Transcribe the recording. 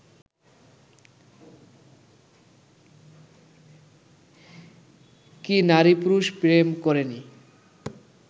কি নারী-পুরুষ প্রেম করেনি